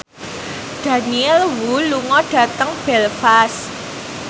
Daniel Wu lunga dhateng Belfast